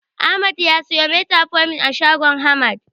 Ahmad ya siyo Metformin a shagon Hamad.